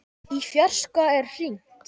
Í fjarska er hringt.